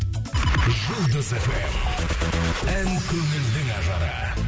жұлдыз фм ән көңілдің ажары